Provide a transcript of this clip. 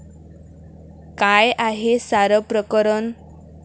काय आहे सारं प्रकरण?